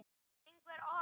Þarf einhver orð?